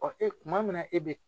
Ɔ e kuma min na e be